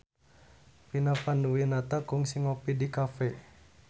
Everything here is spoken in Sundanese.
Vina Panduwinata kungsi ngopi di cafe